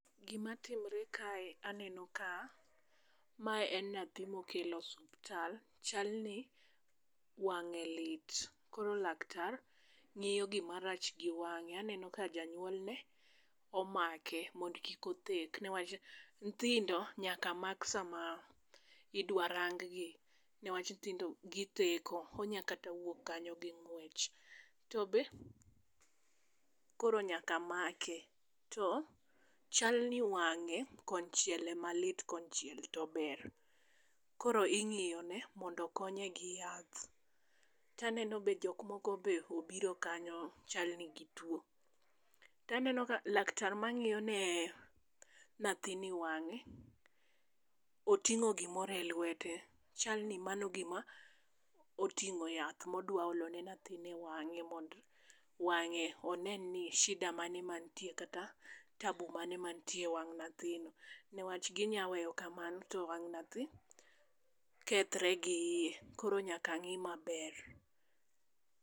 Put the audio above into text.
Gima timre kae aneno ka mae en nathi mokel osuptal, chal ni wang'e lit. Koro laktar ng'iyo gima rach gi wang'e, aneno ka janyuolne omake mond kik othek. Newach nthindo nyaka mak sama idwa rang gi newach nthindo githeko, onya kata wuok kanyo gi ng'wech. tobe Koro nyaka make, to chalni wang'e kochiel ema lit konchiel to ber. Koro ing'iyo ne mondo konye gi yath, taneno be jok moko be obiro kanyo chalni gituo. Taneno ka laktar ma ng'iyo ne nathini wang'e, oting'o gimoro e lwete. Chalni mano gima oting'o yath modwa olone nathini e wang'e, onen ni shida mane mantie kata tabu mane mantie e wang' nathino. Newach ginya weyo kamano to wang' nathi kethre gi iye, koro nyaka ng'i maber.